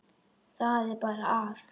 Það er bara að.